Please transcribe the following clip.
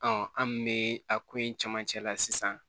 an kun be a ko in camancɛ la sisan